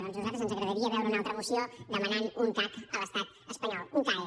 doncs a nosaltres ens agradaria veure una altra moció demanant un cac a l’estat espanyol un cae